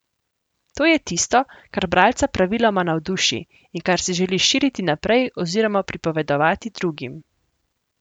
To je tisto, kar bralca praviloma navduši in kar si želi širiti naprej oziroma pripovedovati drugim.